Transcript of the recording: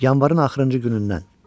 Yanvarın axırıncı günündən.